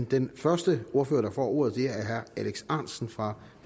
den første ordfører der får ordet er herre alex ahrendtsen for